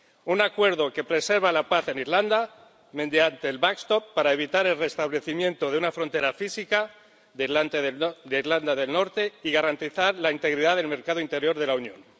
Un acuerdo que preserva la paz en Irlanda mediante el backstop para evitar el restablecimiento de una frontera física con Irlanda del Norte y garantizar la integridad del mercado interior de la Unión.